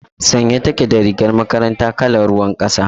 Sanye take da rigar makaranta kalar ruwan kasa.